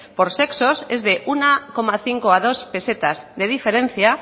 por sexos es de uno coma cinco a dos pesetas de diferencia